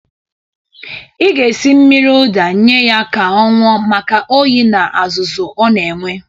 Ị ga-esi mmiri ụda nye ya ka ọ ñụọ maka oyi na azụzụ ọ na-enwe.